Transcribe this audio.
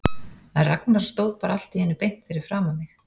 En Ragnar stóð bara allt í einu beint fyrir framan mig.